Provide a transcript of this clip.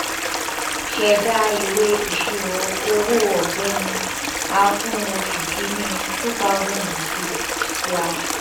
ṣẹ̀dáa ìwé ìṣirò owó ọ̀gbẹ́ni a fún oṣù kìíní two thousand and six slash